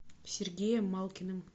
сергеем малкиным